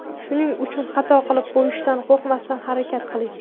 Shuning uchun xato qilib qo‘yishdan qo‘rqmasdan, harakat qiling!